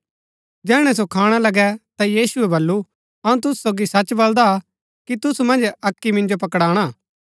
जैहणै सो खाणा लगै ता यीशुऐ बल्लू अऊँ तुसु सोगी सच बलदा कि तुसु मन्ज अक्की मिन्जो पकड़ाणा